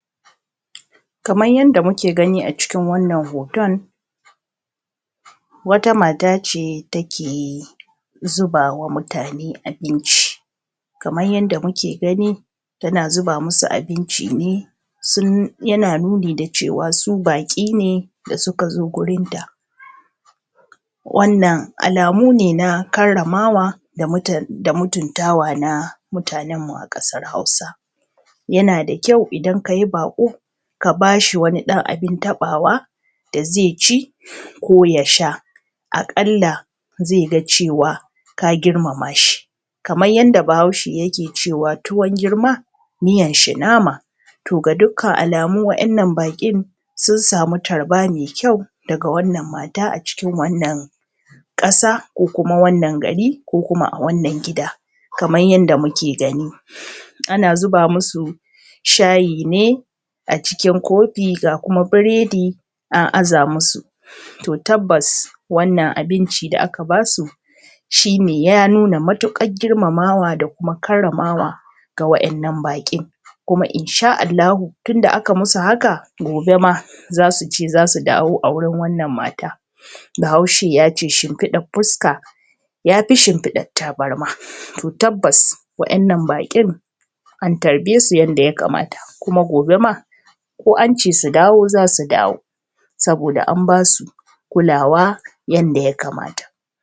kaman yanda muke gani a cikin wannan hoton wata mata ce ta ke zubawa mutane abinci kaman yanda muke gani tana zuba musu abinci ne sun yana nuni ne da cewa su baƙi ne da suka zo wurin ta wannan alamu ne na karramawa da mutuntawa na mutanen mu a ƙasar hausa yana da kyau idan kayi baƙo ka bashi wani ɗan abun taɓawa da zai ci ko ya sha a ƙalla zai ga cewa ka girmama shi kaman yanda bahaushe yake cewa tuwon girma miyan shi nama to ga dukkan alamu waɗannan baƙin sun samu tarba mai kyau daga wannan mata a cikin wannan ƙasa ko kuma wannan gari ko kuma a wannan gida kaman yanda muke gani ana zuba musu shayi ne a cikin kofi ga kuma buredi an aza musu to tabbas wannan abinci da aka basu shine ya nuna matuƙar girmamawa da kuma karramawa ga waɗannan baƙi kuma insha Allahu tunda aka musu haka gobe ma za su dawo a wurin wannan mata bahaushe yace shimfiɗar fuska yafi shimfiɗar tabarma to tabbas waɗannan baƙin an tarɓe su yanda ya kamata kuma gobe ma ko ance su dawo zasu dawo saboda an basu kulawa yanda ya kamata.